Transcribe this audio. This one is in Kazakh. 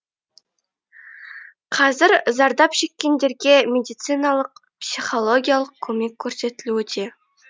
қазір зардап шеккендерге медициналық психологиялық көмек көрсетілуде